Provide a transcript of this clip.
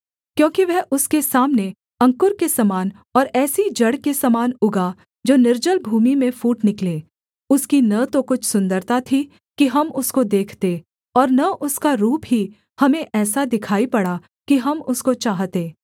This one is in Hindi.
क्योंकि वह उसके सामने अंकुर के समान और ऐसी जड़ के समान उगा जो निर्जल भूमि में फूट निकले उसकी न तो कुछ सुन्दरता थी कि हम उसको देखते और न उसका रूप ही हमें ऐसा दिखाई पड़ा कि हम उसको चाहते